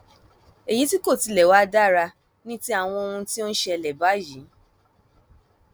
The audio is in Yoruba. èyí tí kò tilẹ wàá dára ni ti àwọn ohun tó ń ṣẹlẹ báyìí